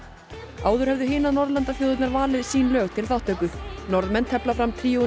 áður höfðu hinar Norðurlandaþjóðirnar valið sín lög til þáttöku Norðmenn tefla fram tríóinu